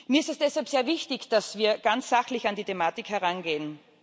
Mir ist es deshalb sehr wichtig, dass wir ganz sachlich an die Thematik herangehen.